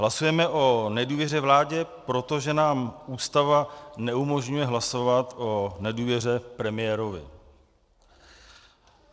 Hlasujeme o nedůvěře vládě, protože nám Ústava neumožňuje hlasovat o nedůvěře premiérovi.